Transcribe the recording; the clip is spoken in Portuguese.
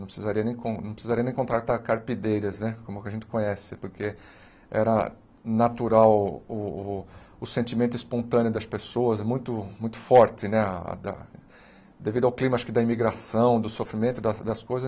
Não precisaria nem con não precisaria nem contratar carpideiras né, como que a gente conhece, porque era natural o o o sentimento espontâneo das pessoas, é muito muito forte, né a a da devido ao clima da imigração, do sofrimento das das coisas.